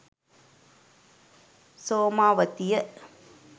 somawathiya